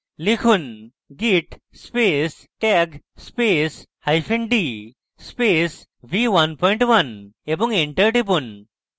লিখুন: git space tag space hyphen d space v11 এবং enter টিপুন